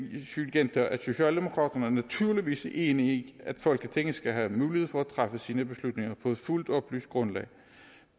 gentage at socialdemokraterne naturligvis er enige i at folketinget skal have mulighed for at træffe sine beslutninger på et fuldt oplyst grundlag